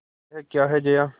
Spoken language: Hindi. यह क्या है जया